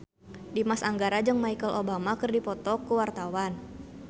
Dimas Anggara jeung Michelle Obama keur dipoto ku wartawan